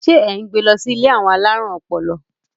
ṣe e n gbè ló si ilé àwọn alarun ọpọlọ?